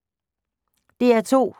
DR2